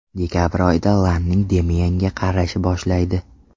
Dekabr oyida Lanning Demienga qarashni boshlaydi.